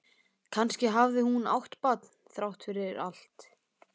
Kannski hafði hún átt barn þrátt fyrir allt.